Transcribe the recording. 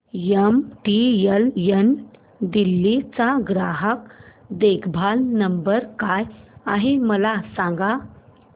MTNL Delhi चा ग्राहक देखभाल नंबर काय आहे मला सांग